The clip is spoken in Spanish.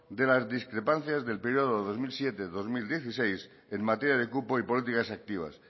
de las discrepancias del periodo dos mil siete dos mil dieciséis en materia de cupo y políticas activas